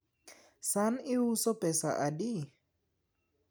san iuso pesa adi?